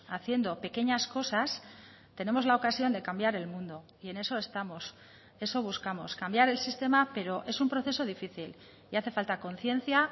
haciendo pequeñas cosas tenemos la ocasión de cambiar el mundo y en eso estamos eso buscamos cambiar el sistema pero es un proceso difícil y hace falta conciencia